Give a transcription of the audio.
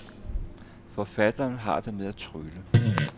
Forfatteren har det med at trylle.